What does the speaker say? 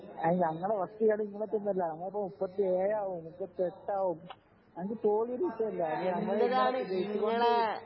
അയിനു ഞങ്ങളെ ഫസ്റ്റ് കളി ഇങ്ങളെ ഒപ്പമൊന്നുമല്ല ഞങ്ങൾക്ക് മുപ്പത്തി ഏഴാകും മുപ്പത്തി എട്ടാകും ഞമ്മക്ക് തോൽവി ഒരു വിഷയമല്ല ഞങ്ങള് ഇങ്ങനെ ജയിച്ചു കൊണ്ടേയിരിക്കും